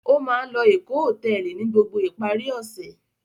Ó máa ń lọ Èkó Hòtẹ́ẹ́lì ní gbogbo ìparí ọ̀sẹ̀.